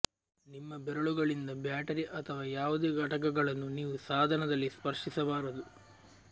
ನಿಮ್ಮ ಬೆರಳುಗಳಿಂದ ಬ್ಯಾಟರಿ ಅಥವಾ ಯಾವುದೇ ಘಟಕಗಳನ್ನು ನೀವು ಸಾಧನದಲ್ಲಿ ಸ್ಪರ್ಶಿಸಬಾರದು